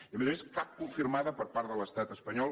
i a més a més cap confirmada per part de l’estat espanyol